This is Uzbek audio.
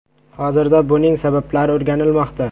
Hozirda buning sabablari o‘rganilmoqda.